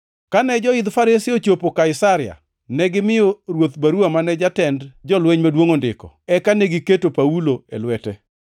Kane joidh farese ochopo Kaisaria, negimiyo ruoth baruwa mane jatend jolweny maduongʼ ondiko, eka negiketo Paulo e lwete.